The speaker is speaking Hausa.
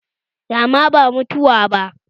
Rama ba mutuwa ba